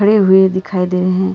खड़े हुए दिखाई दे रहे हैं।